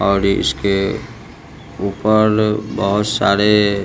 और ये इसके ऊपर बहोत सारे--